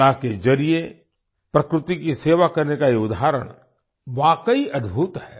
कला के जरिए प्रकृति की सेवा करने का ये उदाहरण वाकई अद्भुत है